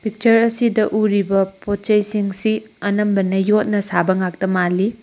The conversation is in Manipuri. ꯄꯤꯛꯆꯔ ꯑꯁꯤꯗꯥ ꯎꯔꯤꯕ ꯄꯣꯠꯆꯩ ꯁꯤꯡꯁꯤ ꯑꯅꯝꯕꯅ ꯌꯣꯠꯅ ꯁꯥꯕ ꯉꯥꯛꯇ ꯃꯥꯜꯂꯤ꯫